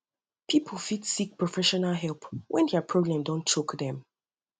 pipu fit seek professional help when dia problem don choke them